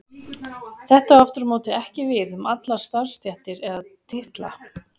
Þetta á aftur á móti ekki við um allar starfstéttir eða titla.